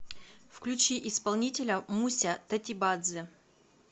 включи исполнителя муся тотибадзе